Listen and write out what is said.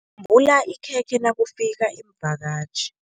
Yembula ikhekhe nakufika iimvakatjhi.